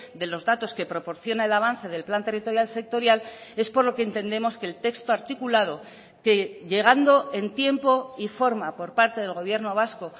de los datos que proporciona el avance del plan territorial sectorial es por lo que entendemos que el texto articulado que llegando en tiempo y forma por parte del gobierno vasco